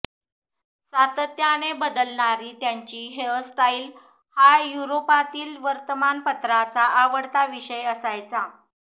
सातत्याने बदलणारी त्याची हेअरस्टाइल हा युरोपातील वर्तमानपत्रांचा आवडता विषय असायचा